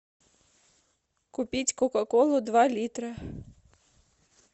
купить кока колу два литра